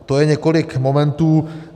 To je několik momentů.